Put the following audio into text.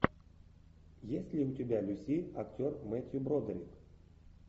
есть ли у тебя люси актер мэттью бродерик